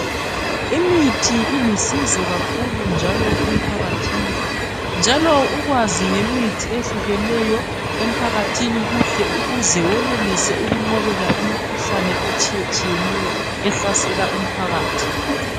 Imithi ilusizo kakhulu njalo emphakathini njalo ukwazi ngemithi eyehlukeneyo emphakathini kuhle ukuze wenelise ukunqobela imikhuhlane etshiyetshiyeneyo ehlasela umphakathi.